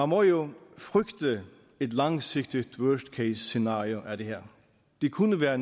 må jo frygte et langsigtet worst case scenario af det her det kunne være